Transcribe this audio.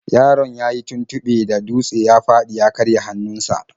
Yaron yayi tuntuɓe da dutse ya fadi ya karya hannunsa.